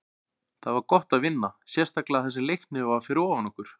Það var gott að vinna, sérstaklega þar sem Leiknir var fyrir ofan okkur.